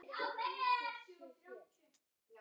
Það er allt hægt.